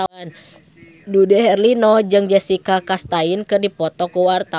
Dude Herlino jeung Jessica Chastain keur dipoto ku wartawan